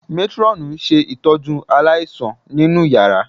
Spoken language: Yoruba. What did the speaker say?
Métírọ́ọ̀nù ń ṣe ìtọ́jú aláìsàn nínú yàrá